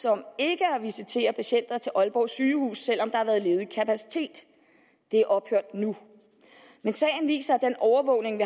om ikke at visitere patienter til aalborg sygehus selv om der har været ledig kapacitet det er ophørt nu men sagen viser at den overvågning